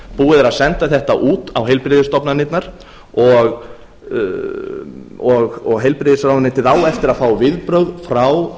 búið er að senda þetta út á heilbrigðisstofnanirnar og heilbrigðisráðuneytið á eftir að fá viðbrögð frá